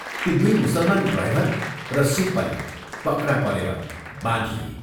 ती दुइ मुसलमान ड्राइभर र सिख पनि पक्रा परेर बाँधिए।